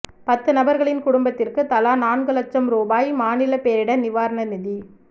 பத்து நபர்களின் குடும்பத்திற்கு தலா நான்கு லட்சம் ரூபாய் மாநில பேரிடர் நிவாரண நிதி